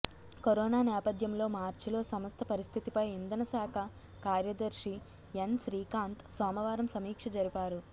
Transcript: corona నేపథ్యంలో మార్చిలో సంస్థ పరిస్థితిపై ఇంధన శాఖ కార్యదర్శి ఎన్ శ్రీకాంత్ సోమవారం సమీక్ష జరిపారు